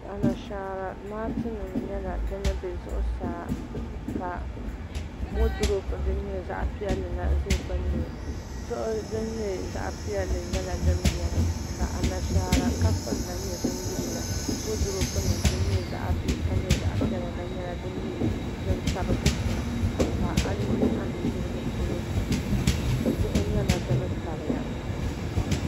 Anashaara laati nim nyɛla din bɛ zuɣusaa ka woodurop zaɣ piɛlli la ʒɛ dinni diɣi din nyɛ zaɣ piɛlli la nyɛla din biɛni ka Anashaara kafuni la nyɛ din yiliya woodurop nim din nyɛ zaɣ bihi ka nyɛ zaɣ piɛla la nyɛla din tabi dikpuna ka a yuli a nudirigu polo diɣi nyɛla din tabiya